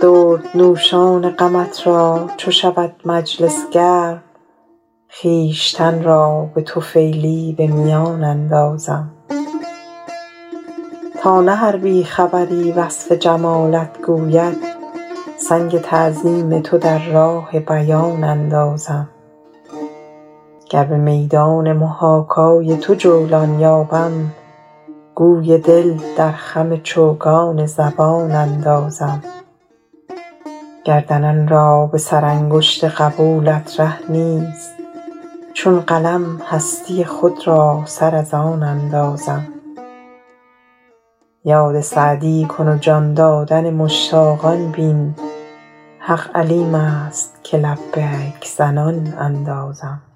دردنوشان غمت را چو شود مجلس گرم خویشتن را به طفیلی به میان اندازم تا نه هر بی خبری وصف جمالت گوید سنگ تعظیم تو در راه بیان اندازم گر به میدان محاکای تو جولان یابم گوی دل در خم چوگان زبان اندازم گردنان را به سرانگشت قبولت ره نیست چون قلم هستی خود را سر از آن اندازم یاد سعدی کن و جان دادن مشتاقان بین حق علیم است که لبیک زنان اندازم